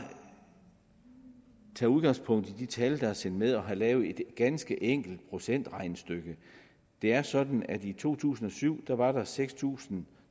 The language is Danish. tage udgangspunkt i de tal der er sendt med jeg har lavet et ganske enkelt procentregnestykke det er sådan at i to tusind og syv var der seks tusind